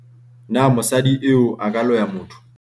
na mosadi eo a ka loya motho?